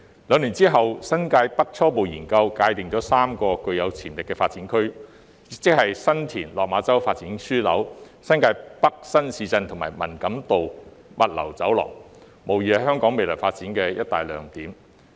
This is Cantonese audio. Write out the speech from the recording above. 兩年後，《新界北初步研究》界定了3個具潛力的發展區，即新田/落馬洲發展樞紐、新界北新市鎮及文錦渡物流走廊，無疑是香港未來發展的一大亮點。